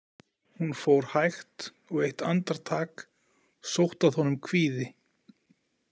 Hún fór hægt og eitt andartak sótti að honum kvíði.